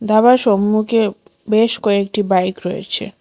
ধাবার সম্মুখে বেশ কয়েকটি বাইক রয়েছে।